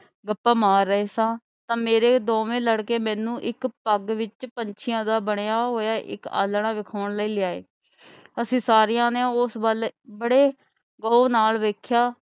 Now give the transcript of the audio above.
ਗੱਪਾਂ ਮਾਰ ਰਹੇ ਸਾਂ ਤਾਂ ਮੇਰੇ ਦੋਵੇਂ ਲੜਕੇ ਮੈਨੂੰ ਇੱਕ ਪੱਗ ਵਿੱਚ ਪੰਛੀਆਂ ਦਾ ਬਣਿਆ ਹੋਇਆ ਇਕ ਆਲ੍ਹਣਾ ਵਿਖਾਉਣ ਲਈ ਲਿਆਏ ਅਸੀਂ ਸਾਰਿਆਂ ਨੇ ਉਸ ਵੱਲ ਬੜੀ ਗੌਰ ਨਾਲ ਵੇਖਿਆ।